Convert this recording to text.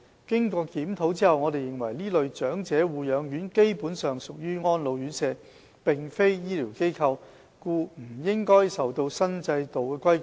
經檢討後，我們認為這類長者護養院基本上屬於安老院舍，並非醫療機構，故不應受新制度規管。